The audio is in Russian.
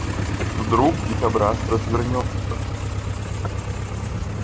вдруг дикобраз развернётся